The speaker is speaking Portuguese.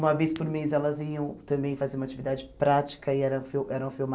Uma vez por mês elas iam também fazer uma atividade prática e era fil eram